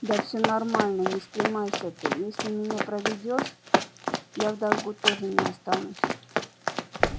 да всё нормально не стремайся ты если меня проведёшь я в долгу тоже не останусь